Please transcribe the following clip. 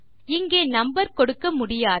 இங்கே நம்பர் கொடுக்க முடியாது